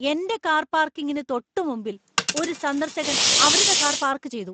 എന്‍റെ കാർ പാർക്കിങ്ങിന് തൊട്ടുമുമ്പിൽ ഒരു സന്ദർശകൻ അവരുടെ കാർ പാർക്ക് ചെയ്തു.